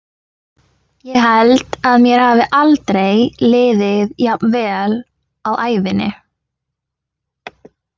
Ég held að mér hafi aldrei liðið jafn vel á ævinni.